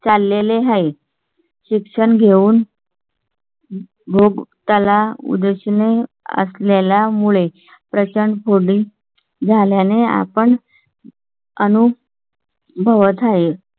चालले ला आहे. शिक्षण घेऊन . भोग त्याला उद्देश नी असलेला मुळे प्रचंड कोंडी झाल्याने आपण अनूप. भवता हे